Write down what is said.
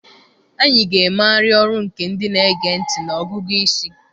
Anyị ga-emegharị ọrụ nke ndị na-ege ntị na ọgụgụ isi.